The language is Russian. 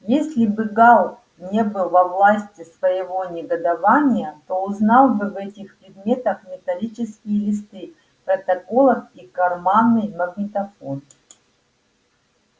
если бы гаал не был во власти своего негодования то узнал бы в этих предметах металлические листы протоколов и карманный магнитофон